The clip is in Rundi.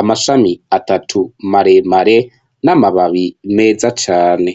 amashami atatu maremare n'amababi meza cane.